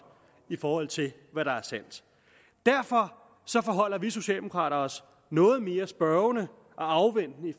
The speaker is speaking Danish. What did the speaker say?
i forhold til hvad der er sandt derfor forholder vi socialdemokrater os noget mere spørgende og afventende i